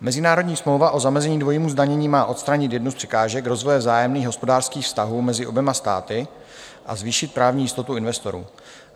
Mezinárodní smlouva o zamezení dvojímu zdanění má odstranit jednu z překážek rozvoje vzájemných hospodářských vztahů mezi oběma státy a zvýšit právní jistotu investorů.